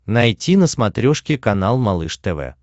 найти на смотрешке канал малыш тв